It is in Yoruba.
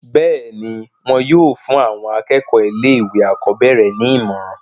bẹ́ẹ̀ni, wọn yóò fún àwọn akẹ́kọ̀ọ́ ilé ìwé àkọ́bẹ̀rẹ̀ ní ìmọ̀ràn